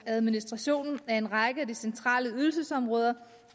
administrationen af en række af de centrale ydelsesområder